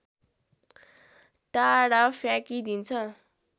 टाढा फ्याँकिदिन्छ